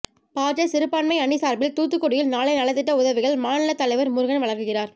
பாஜ சிறுபான்மை அணி சார்பில் தூத்துக்குடியில் நாளை நலத்திட்ட உதவிகள் மாநில தலைவர் முருகன் வழங்குகிறார்